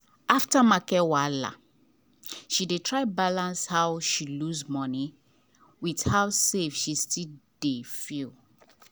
after market wahala she dey try balance how she lose money with how safe she still dey feel.